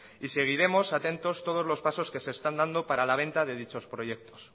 y seguiremos atentos todos los pasos que se están dando para la venta de dichos proyectos